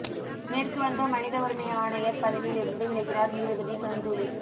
மேற்கு வங்க மனித உரிமை ஆணையர் பதவியிலிருந்து விலகினார் நீதிபதி கங்குலி